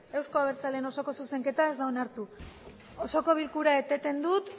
euzko abertzaleen osoko zuzenketa ez da onartu osoko bilkura eteten dut